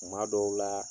Tuma dɔw la